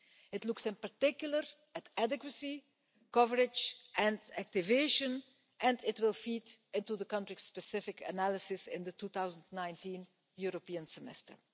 It looks in particular at adequacy, coverage and activation and it will feed into the country-specific analysis in the 2019 European Semester.